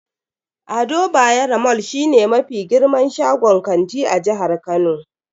Ado Bayero mall shine mafi girman shagon kanti a jihar Kano.